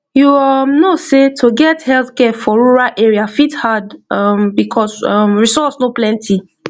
you um know sey to get healthcare for rural area fit hard um because um resource no plenty